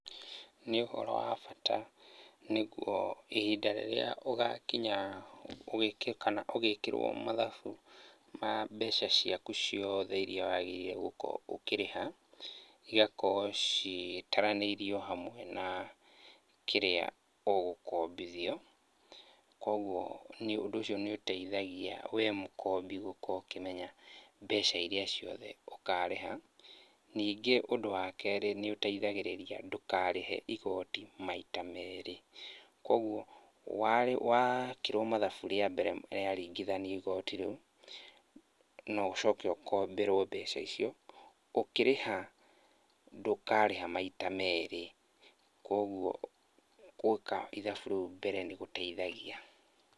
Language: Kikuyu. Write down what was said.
Nĩ ũhoro wa bata nĩguo ihinda rĩrĩa ũgakinya wike, kana ũgĩkĩrwo mathabu ma mbeca ciaku ciothe iria wagĩrĩire gũkorwo ũkĩrĩha, cigakorwo citaranĩirio hamwe na kĩrĩa ũgũkombithio. Koguo ũndũ ũcio nĩ ũteithagia we mũkombi gũkorwo ũkũmenya mbeca iria ciothe ũkarĩha. Ningĩ ũndũ wa kerĩ, nĩ ũteithagĩrĩria ndũkarĩhe igoti maita merĩ. Koguo, wekirwo mathabu rĩa mbere rĩaringithanio igoti rĩu, no ũcoke ũkomberwo mbeca icio, ũkĩrĩha ndũkarĩha maita merĩ, koguo gwĩka ithabu rĩu mbere nĩ gũteithagia.